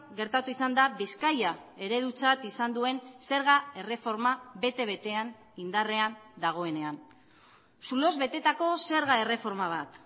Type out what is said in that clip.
gertatu izan da bizkaia eredutzat izan duen zerga erreforma bete betean indarrean dagoenean zuloz betetako zerga erreforma bat